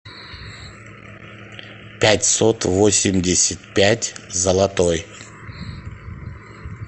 пятьсот восемьдесят пять золотой